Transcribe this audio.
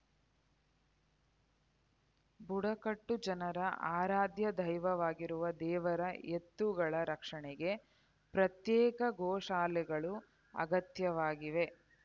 ಬುಡಕಟ್ಟು ಜನರ ಆರಾಧ್ಯ ದೈವವಾಗಿರುವ ದೇವರ ಎತ್ತುಗಳ ರಕ್ಷಣೆಗೆ ಪ್ರತ್ಯೇಕ ಗೋಶಾಲೆಗಳು ಅಗತ್ಯವಾಗಿವೆ